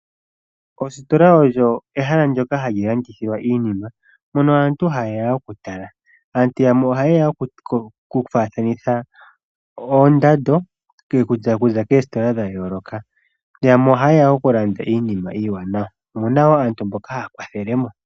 Ostola olyo ehala moka hamu landithilwa iinima mono aantu hayeya okutala. Aantu yamwe ohayeya oku faathanitha oondando kiikutu okuza koostola dha yooloka, yamwe ohayeya okulanda iinima iiwanawa. Omuna woo aantu mboka haya kwathelemo.